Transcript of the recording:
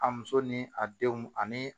A muso ni a denw ani